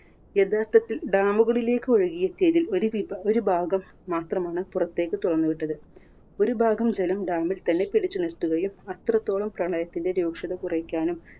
യഥാർത്ഥത്തിൽ dam കളിലേക്ക് ഒഴുകിയ stage ൽ ഒരു വിഭാ ഒരു ഭാഗം മാത്രമാണ് പുറത്തേക്ക് തുറന്ന് വിട്ടത്. ഒരു ഭാഗം ജലം dam ൽ തന്നെ പിടിച്ചു നിർത്തുകയും അത്രത്തോളം പ്രളയത്തിന്റെ രൂക്ഷത കുറയ്ക്കാനും